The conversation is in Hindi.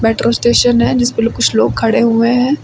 मेट्रो स्टेशन है जिसपे लोग कुछ लोग खड़े हुए हैं।